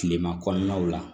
Kilema kɔnɔnaw la